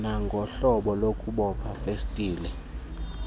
kwanohlobo lokuboba festile